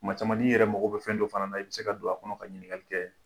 Kuma caman n'i yɛrɛ mago bɛ fɛn dɔ fana na i bɛ se ka don a kɔnɔ ka ɲininkali kɛ.